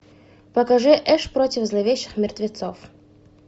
покажи эш против зловещих мертвецов